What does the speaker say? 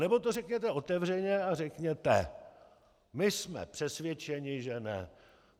Anebo to řekněte otevřeně a řekněte: My jsme přesvědčeni že ne.